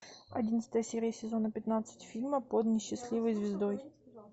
одиннадцатая серия сезона пятнадцать фильма под несчастливой звездой